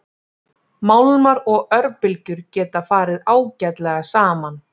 Málmar og örbylgjur geta farið ágætlega saman.